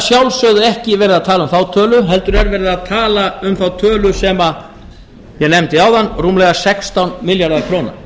sjálfsögðu ekki verið að tala um þá tölu heldur er verið að tala um þá tölu sem ég nefndi áðan rúmlega sextán milljarðar króna